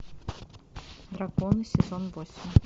драконы сезон восемь